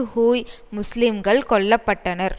Hui முஸ்லீம்கள் கொல்ல பட்டனர்